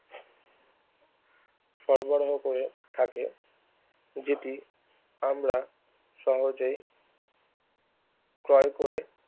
সরবরাহ করে থাকে যদি আমরা সহজে ক্রয় করে